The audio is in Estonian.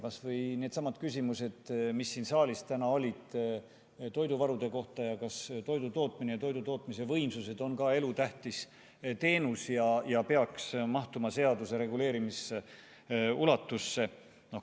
Kas või needsamad küsimused, mis siin saalis täna olid toiduvarude kohta ja kas toidutootmine ja toidutootmise võimsused on ka elutähtis teenus ja peaks mahtuma seaduse reguleerimisulatusse.